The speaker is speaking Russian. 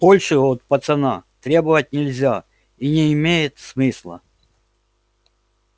большего от пацана требовать нельзя и не имеет смысла